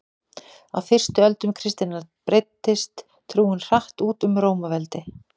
á fyrstu öldum kristninnar breiddist trúin hratt út um rómaveldi